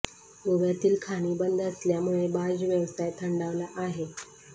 गोव्यातील खाणी बंद असल्यामुळे बार्ज व्यवसाय थंडावला आहे